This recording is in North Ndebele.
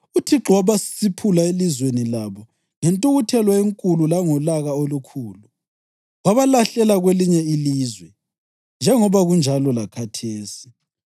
UThixo wabasiphula elizweni labo ngentukuthelo enkulu langolaka olukhulu wabalahlela kwelinye ilizwe, njengoba kunjalo lakhathesi.’